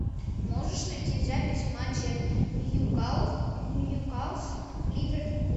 можешь найти запись матча ньюкасл ливерпуль